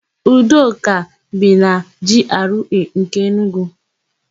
Udoka bi na Jiarụee nke Enugu.